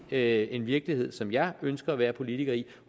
er ikke en virkelighed som jeg ønsker at være politiker i